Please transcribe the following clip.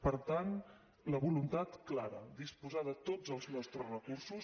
per tant la voluntat clara disposar de tots els nostres recursos